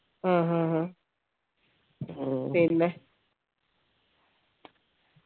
ആഹ്ഹ്ഹ പിന്നെ